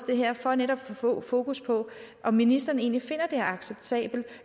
det her for netop at få fokus på om ministeren egentlig finder det er acceptabelt